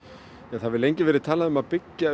það hefur lengi verið talað um að byggja